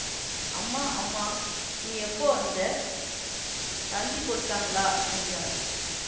அம்மா அம்மா நீ எப்போ வந்த தந்தி கொடுத்தாங்களா என்றாள்